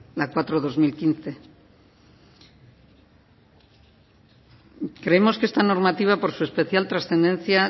la ley cuatro barra dos mil quince creemos que esta normativa por su especial transcendencia